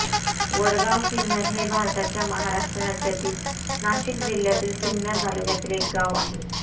वडगावसिन्नर हे भारताच्या महाराष्ट्र राज्यातील नाशिक जिल्ह्यातील सिन्नर तालुक्यातील एक गाव आहे